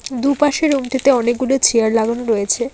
দুপাশে রুমটিতে অনেকগুলি চেয়ার লাগানো রয়েছে।